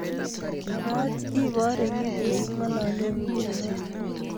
Pakach ipare kiit negingololen nguno